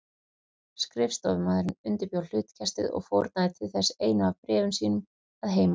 Skrifstofumaðurinn undirbjó hlutkestið og fórnaði til þess einu af bréfum sínum að heiman.